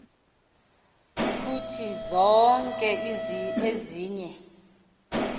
kuthi zonke ezinye